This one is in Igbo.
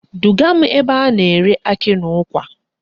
Duga m ebe a na-ere akị na ụkwa